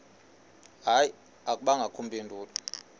hayi akubangakho mpendulo